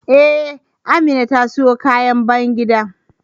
Ee, Amina ta siyo kayan bayan gida.